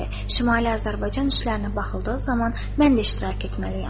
Şimali Azərbaycan işlərinə baxıldığı zaman mən də iştirak etməliyəm.